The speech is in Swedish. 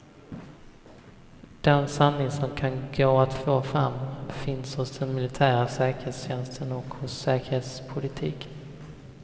Den sanning som kan gå att få fram finns hos den militära säkerhetstjänsten och hos säkerhetspolitiken.